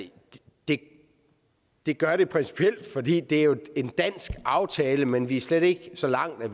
det det gør det principielt fordi det jo en dansk aftale men vi er slet ikke så langt at